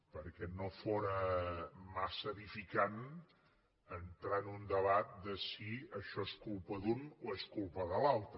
perquè no fóra massa edificant entrar en un debat de si això és culpa d’un o és culpa de l’altre